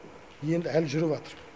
енді әлі жүріп жатыр